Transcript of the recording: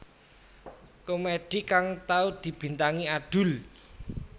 Komedi kang tau dibintangi Adul